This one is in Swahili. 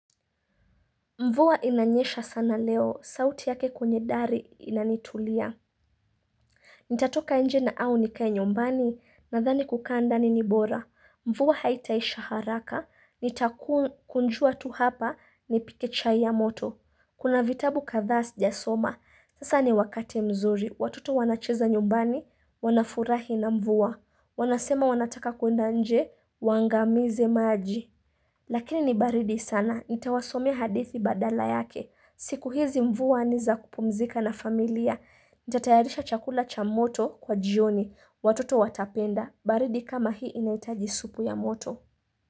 Mvua inanyesha sana leo. Sauti yake kwenye dari inanitulia. Nitatoka nje na au nikae nyumbani. Nadhani kukaa ndani ni bora. Mvua haitaisha haraka. Nitakunjua tu hapa nipike chai ya moto. Kuna vitabu kadhaa sijasoma. Sasa ni wakati mzuri. Watoto wanacheza nyumbani, wanafurahi na mvuwa. Wanasema wanataka kuenda nje, waangamize maji. Lakini ni baridi sana, nitawasomeahadithi badala yake. Siku hizi mvua ni za kupumzika na familia. Nitatayarisha chakula cha moto kwa jioni. Watoto watapenda. Baridi kama hii inahitaji supu ya moto.